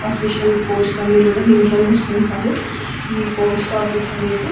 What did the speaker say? Official పోస్ట్లు అన్నీ కూడా దీంట్లోనే వేస్తుంటారు ఈ పోస్ట్ ఆఫీస్ అనేది.